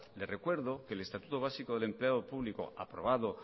le recuerdo que el estatuto básico del empleado público aprobado